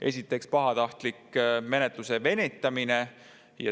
Esiteks, pahatahtlik menetluse venitamine.